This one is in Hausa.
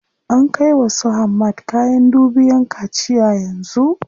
An kai wa su Hamad kayan dubiyan kaciya yanzu.